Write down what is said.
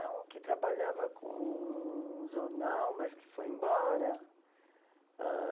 um que trabalhava com jornal, mas que foi embora. Ãh...